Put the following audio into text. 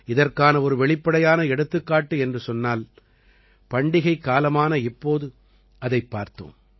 இதற்கான ஒரு வெளிப்படையான எடுத்துக்காட்டு என்று சொன்னால் பண்டிகைக்காலமான இப்போது அதைப் பார்த்தோம்